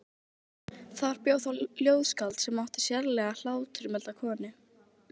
Þar bjó þá ljóðskáld sem átti sérlega hláturmilda konu.